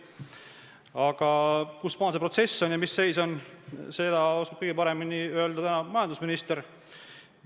Aga kusmaal see protsess on ja mis seis on, seda oskab täna kõige paremini öelda majandusminister.